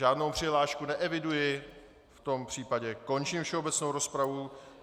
Žádnou přihlášku neeviduji, v tom případě končím všeobecnou rozpravu.